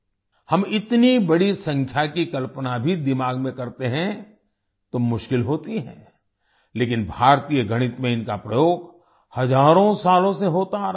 हम इतनी बड़ी संख्या की कल्पना भी दिमाग में करते हैं तो मुश्किल होती है लेकिन भारतीय गणित में इनका प्रयोग हजारों सालों से होता आ रहा है